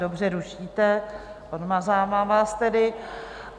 Dobře, rušíte, odmazávám vás tedy.